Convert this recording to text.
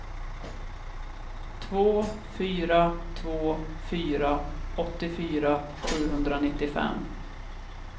två fyra två fyra åttiofyra sjuhundranittiofem